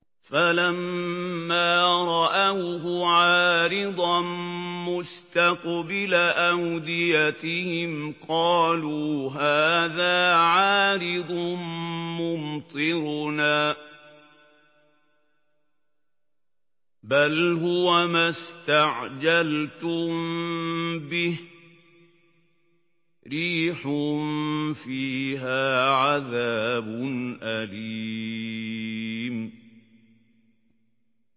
فَلَمَّا رَأَوْهُ عَارِضًا مُّسْتَقْبِلَ أَوْدِيَتِهِمْ قَالُوا هَٰذَا عَارِضٌ مُّمْطِرُنَا ۚ بَلْ هُوَ مَا اسْتَعْجَلْتُم بِهِ ۖ رِيحٌ فِيهَا عَذَابٌ أَلِيمٌ